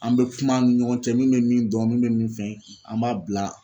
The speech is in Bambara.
An be kuma an ni ɲɔgɔn cɛ min be min dɔn min be min fɛn an b'a bila